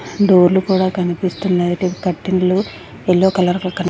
డోర్లు కూడా కనిపిస్తు లైట్ గా కటింగ్లు ఎల్లో కలర్ లో క--